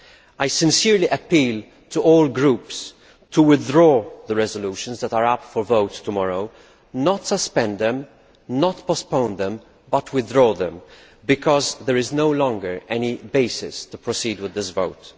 I sincerely appeal to all groups to withdraw the resolutions that are up for vote tomorrow not suspend them, not postpone them, but withdraw them because there is no longer any basis for proceeding with this vote.